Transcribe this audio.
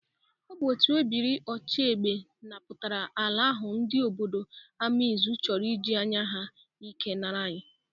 Ọ bụ otu ebiri ochiegbe napụtara ala ahụ ndị obodo Amaizụ chọrọ ị ji anya ike nara anyị.